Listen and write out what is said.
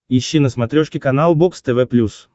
ищи на смотрешке канал бокс тв плюс